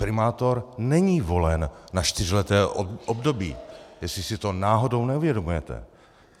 Primátor není volen na čtyřleté období, jestli si to náhodou neuvědomujete.